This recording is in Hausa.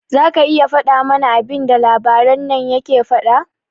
Zaka iya fada mana abinda balaraben nan yake faɗa?